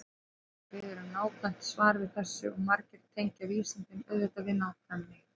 Spyrjandi biður um nákvæmt svar við þessu og margir tengja vísindin auðvitað við nákvæmni.